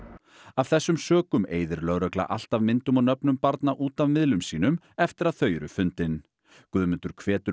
af þessum sökum eyðir lögregla alltaf myndum og nöfnum barna út af miðlum sínum eftir að þau eru fundin Guðmundur hvetur